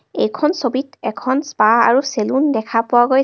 এইখন ছবিত এখন স্পা আৰু চেলোন দেখা পোৱা গৈছে.